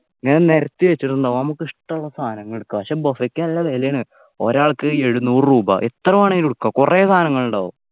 ഇങ്ങനെ നിരത്തിവച്ചിട്ടുണ്ടാവും നമുക്ക് ഇഷ്ടമുള്ള സാധനങ്ങൾ എടുക്കാ പക്ഷേ buffet ക്ക് നല്ല വിലയാണ് ഒരാക്ക് എഴുന്നൂറ് രൂപ എത്രവേണമെങ്കിലും എടുക്കാം കുറെ സാധനങ്ങൾ ഉണ്ടാവും